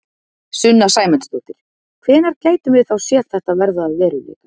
Sunna Sæmundsdóttir: Hvenær gætum við þá séð þetta verða að veruleika?